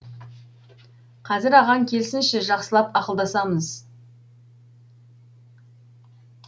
қазір ағаң келсінші жақсылап ақылдасамыз